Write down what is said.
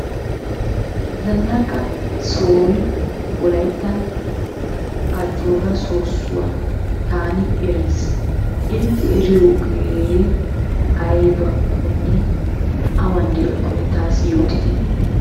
Zannaqa sohoy wolayttan ajjoora soossuwa taani erays. Intte eriyogee aybakkonne, awan de'iyakkonne. taassi yootite.